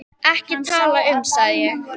Ekki til að tala um, sagði ég.